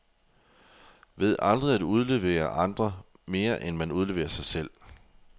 Ved aldrig at udlevere andre, mere end man udleverer sig selv.